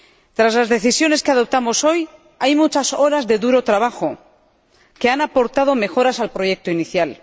Tras las decisiones que adoptamos hoy, hay muchas horas de duro trabajo que han aportado mejoras al proyecto inicial.